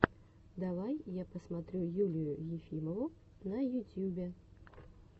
давай я посмотрю юлию ефимову на ютьюбе